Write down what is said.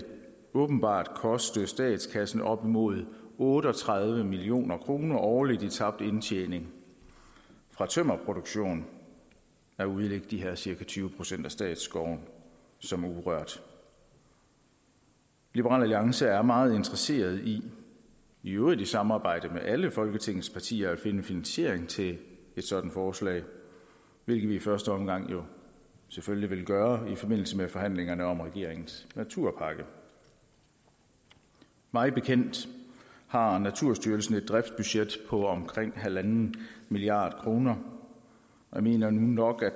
åbenbart koste statskassen op mod otte og tredive million kroner årligt i tabt indtjening fra tømmerproduktion at udlægge de her cirka tyve procent af statsskovene som urørt liberal alliance er meget interesseret i i øvrigt i samarbejde med alle folketingets partier at finde finansiering til et sådant forslag hvilket vi i første omgang selvfølgelig vil gøre i forbindelse med forhandlingerne om regeringens naturpakke mig bekendt har naturstyrelsen et driftsbudget på omkring en milliard kroner jeg mener nu nok at